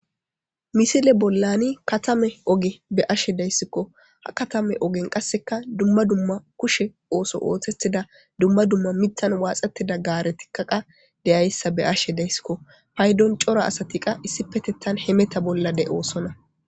misile bollani katame oge be ashe deyssikko ha katame ogen qasseka dumma dumma kushe ooso ootetida dumma dumma mittan waaxettida gaare tikkaqa deyayssa be ashe dayssikko paydon cora asati qa issi petetan hemeta bollade oosona